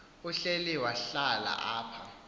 uhleli wahlala apha